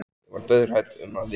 Ég var dauðhrædd um að vinur